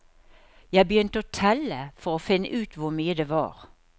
Jeg begynte å telle for å finne ut hvor mye det var.